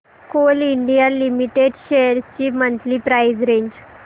Coal India Limited shares ची monthly price range